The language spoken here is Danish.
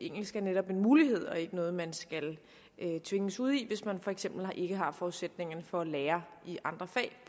engelsk er netop en mulighed og ikke noget man skal tvinges ud i hvis man for eksempel ikke har forudsætningerne for at lære i andre fag